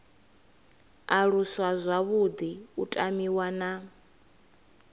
aluswa zwavhuḓi u tamiwa na